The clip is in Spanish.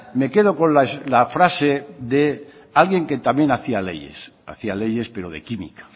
me quedo con la frase de alguien que también hacía leyes hacía leyes pero de química